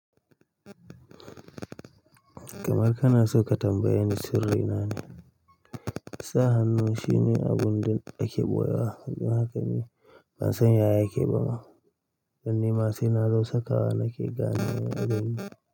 Kamar ka na so ka tambaye ni sirri na ne? Sa hannu shine abun da ake ɓoye wa, yanzu haka ni ban san ya yake ba ma. Dan ni ma sai na zo sakawa na ke gane wa abun.